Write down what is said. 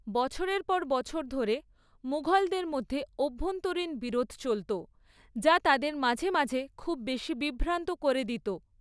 বছরের পর বছর ধরে, মুঘলদের মধ্যে অভ্যন্তরীণ বিরোধ চলত যা তাদের মাঝে মাঝে খুব বেশি বিভ্রান্ত করে দিত।